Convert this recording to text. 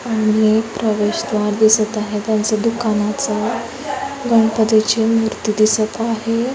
आणि हे एक प्रवेश द्वार दिसत आहे त्यांच्या दुकानाच गणपती ची मूर्ति दिसत आहे.